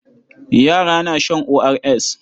Yara na shan ORS.